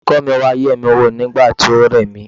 Olùkọ́ mi wá yemi wò nígbà tí ó re mí.